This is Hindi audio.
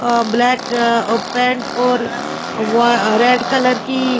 अ ब्लैक अ पेंट और वा रेड कलर की --